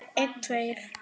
Þetta gerist ekki strax.